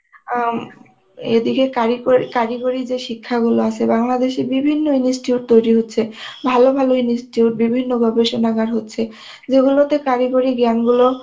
আমি এদিকে কারিকরি~ কারিগরি যে শিক্ষাগুলো আছে বাংলাদেশে বিভিন্ন institute তৈরি হচ্ছে, ভালো ভালো institute, বিভিন্ন গবেষণাগার হচ্ছে যেগুলোতে কারিগরি জ্ঞান গুলো